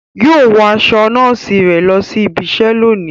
Yóò wọ aṣọ nọọsi rẹ lọ sí ìbi iṣẹ lóni